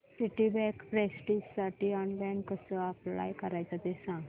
Citibank प्रेस्टिजसाठी online कसं apply करायचं ते सांग